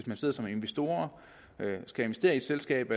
man sidder som investor og skal investere i et selskab